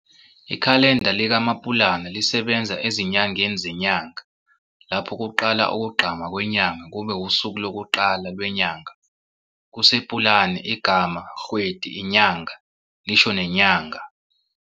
Ikhalenda likaMapulana lisebenza ezinyangeni zenyanga, lapho kuqala ukugqama kwenyanga kube wusuku lokuqala lwenyanga. KuSePulane igama kgwedi, inyanga, lisho nenyanga.